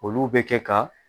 Olu bɛ kɛ ka